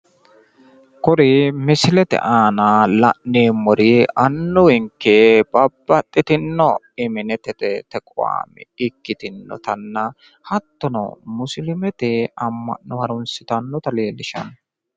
Kuri misilete aana la'neemmori annuwinke babbaxxitino iminetete tequame ikkitinota hattono musiliimete amma'no harunsitannota leellisshanno.